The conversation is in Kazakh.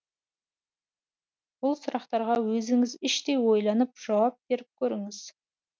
бұл сұрақтарға өзіңіз іштей ойланып жауап беріп көріңіз